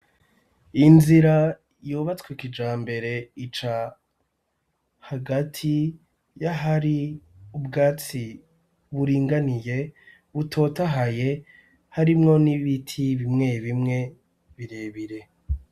Inzira yubatswe kijambere ica hagati yahari ubwatsi buringaniye butotahaye, harimwo n'ibiti bimwe bimwe birebire.